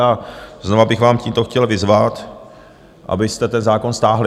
A znova bych vás tímto chtěl vyzvat, abyste ten zákon stáhli.